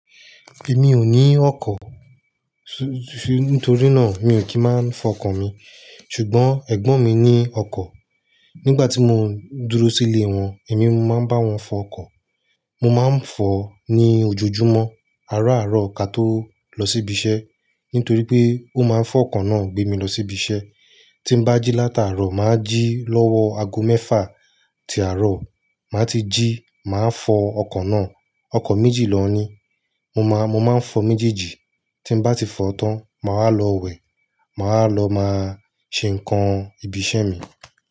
Èmi ò ní ọkọ̀, su-- nítorí náà mi ò kí máa ń fọ ọkọ̀ mi. Ṣùgbọ́n ẹ̀gbọ́n mi ní ọkọ̀. Nígbà tí mo dúró sílé wọn, èmi máa ń bá wọn fọ ọkọ̀. Mo máa ń fọ ní ojoojúmọ́, àárọ̀ àárọ̀ ka tó lọ sí ibi iṣẹ́. Nítorí pé ó máa ń fọ ọkọ̀ náà gbé mi lọ sí ibi iṣẹ́. Tí n bá jí látàárọ̀, mà á jí lọ́wọ́ ago mẹ́fà ti àárọ̀. Mà á ti jí, mà á fọ ọkọ̀ náà. Ọkọ̀ méjì lọ ní. Mo máa, mo máa ń fọ méjèèjì. Tí n bá ti fọ tán, mà á lọ wẹ̀. Mà á lọ máa ṣe nǹkan ibi iṣẹ́ mi.